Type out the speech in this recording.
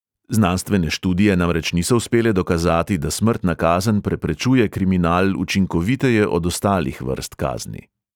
Znanstvene študije namreč niso uspele dokazati, da smrtna kazen preprečuje kriminal učinkoviteje od ostalih vrst kazni.